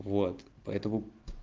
вот поэтому